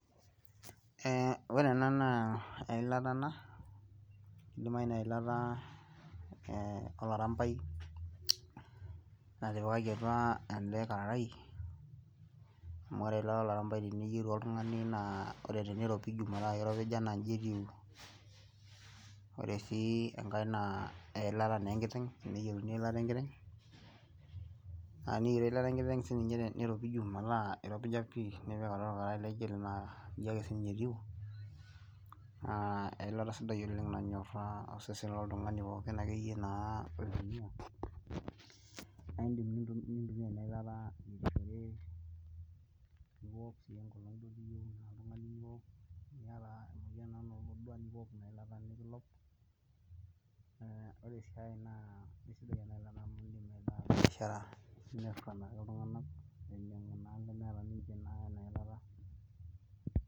Ee ore ena naa eilata ena idimayu naa eilata olarampai, natipikaki apa ele kararai amu ore eilata olarampai teniyieu oltungani naa ore teniropiji metaa iropija naa iji etiu, ore sii enkae naa eilata naa enkiteng', teneyieru niropiju metaa iropija pii nipik atua olkararai laijo ele naa iji ake sii ninye etii, eilata sidai oleng nanyoraa osesen loltungani pookin akeyie naa, naa idim nintokiktoki e na ilata